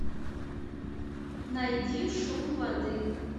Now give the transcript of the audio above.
найди шум воды